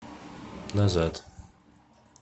назад